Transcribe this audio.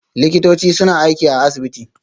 Likitoci suna aiki a asibiti